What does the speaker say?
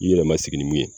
I yɛrɛ ma sigi ni mun ye